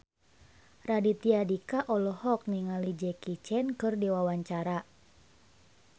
Raditya Dika olohok ningali Jackie Chan keur diwawancara